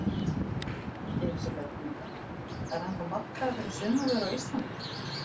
Elísabet Inga: Það er ennþá markaður fyrir sumarvörur á Íslandi?